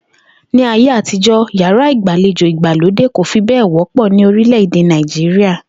Ní ayé àtijó̩, yàrá ìgbàlejò ìgbàlódè kò fi bé̩è̩ wó̩pò̩ ní orílè̩-èdè Nàìjíríà